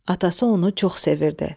Atası onu çox sevirdi.